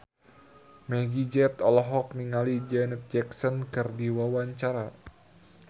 Meggie Z olohok ningali Janet Jackson keur diwawancara